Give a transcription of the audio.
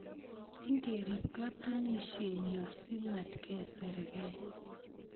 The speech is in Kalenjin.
Ngerip katunisienyo si matkesirgei